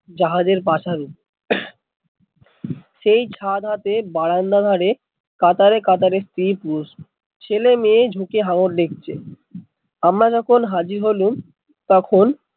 জাহাজের পাথারে সেই ছাদ হাতে বারান্দা ছাদ ধারে কাতারে কাতারে স্ত্রী পুরুষ ছেলে মেয়ে ঝুঁকে হাঙ্গার দেখছে, আমরা যখন হাজির হলুম তখন,